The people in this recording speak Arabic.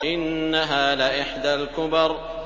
إِنَّهَا لَإِحْدَى الْكُبَرِ